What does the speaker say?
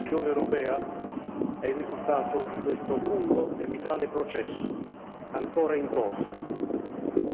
L'Unione europea è il risultato di questo lungo e vitale processo ancora in corso